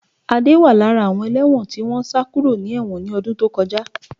Adé wà lára àwọn ẹlẹ́wọ̀n tí wọ́n sá kúrò ní ẹ̀wọ̀n ni ọdún tó kọjá